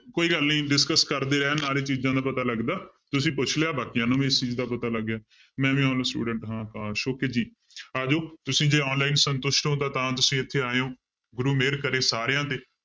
ਕੋਈ ਗੱਲ ਨੀ discuss ਕਰਦੇ ਰਹਿਣ ਨਾਲ ਹੀ ਚੀਜ਼ਾਂ ਦਾ ਪਤਾ ਲੱਗਦਾ ਤੁਸੀਂ ਪੁੱਛ ਲਿਆ ਬਾਕੀਆਂ ਨੂੰ ਵੀ ਇਸ ਚੀਜ਼ ਦਾ ਪਤਾ ਲੱਗ ਗਿਆ ਮੈਂ ਵੀ student ਹੈ ਪਾਸ okay ਜੀ ਆ ਜਾਓ ਤੁਸੀਂ ਜੇ online ਸੰਤੁਸ਼ਟ ਹੋ ਤਾਂ ਤਾਂ ਤੁਸੀਂ ਇੱਥੇ ਆਇਓ ਗੁਰੂ ਮਿਹਰ ਕਰੇ ਸਾਰਿਆਂ ਤੇ